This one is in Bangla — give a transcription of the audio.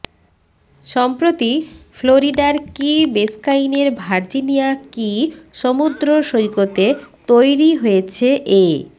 সম্প্রতি ফ্লোরিডার কি বেসকাইনের ভার্জিনিয়া কি সমুদ্র সৈকতে তৈরি হয়েছে এ